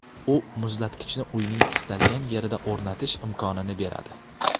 U muzlatgichni uyning istalgan yerida o‘rnatish imkonini beradi.